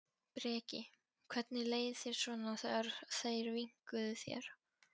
Breki: Hvernig leið þér svona þegar þeir vinkuðu þér?